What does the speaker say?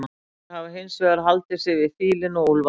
Íslendingar hafa hins vegar haldið sig við fílinn og úlfaldann.